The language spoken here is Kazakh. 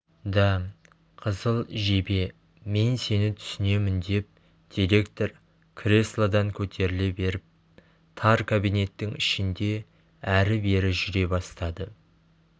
да қызыл жебе мен сені түсінемін деп директор креслодан көтеріле беріп тар кабинеттің ішінде әрі-бері жүре бастады